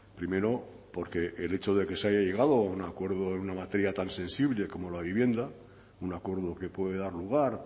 primero porque el hecho de que se haya llegado a un acuerdo en una materia tan sensible como la vivienda un acuerdo que puede dar lugar